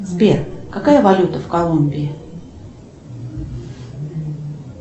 сбер какая валюта в колумбии